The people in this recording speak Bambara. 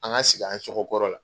An ka segi an cogo kɔrɔ la.